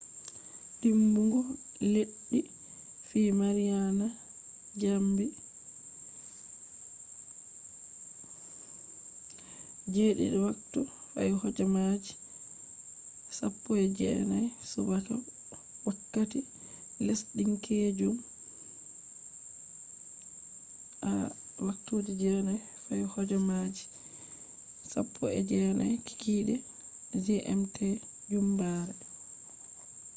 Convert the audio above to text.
dimbugo leddi fi mariana jamdi 07:19 a. m. wakkati lesdinkeejum 09:19p.m. gmt jumbare